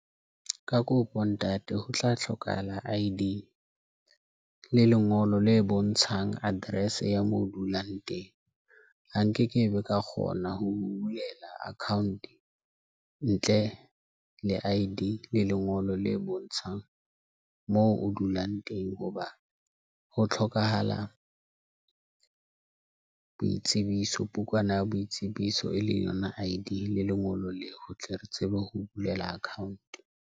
Ka kopo ntate ho tla hlokahala I_D le lengolo le bontshang address ya moo dulang teng ha nkekebe ka kgona ho bulela account ntle le I_D le lengolo le bontshang moo o dulang teng. Hoba ho tlhokahala boitsebiso, bukwana ya boitsebiso e leng yona I_D le lengolo leo re tle re tsebe ho bulela account.